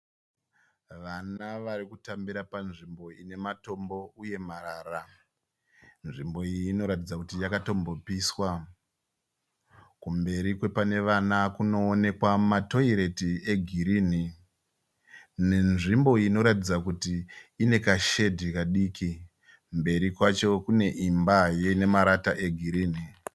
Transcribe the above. Vana vari kutambira panzvimbo ine matombo uye marara. Nzvimbo iyi inoratidza kuti yakatombopiswa. Kumberi kwepane vana kuonekwa matoireti egirini nezvimbo inoratidza kuti ine kashedhi kadiki. Mberi kwacho kune imba yine marata egirini.